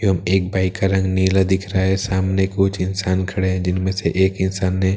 एवं एक बाई का रंग नीला दिख रहा है सामने कुछ इंसान खड़े हैं जिनमें से एक इंसान ने--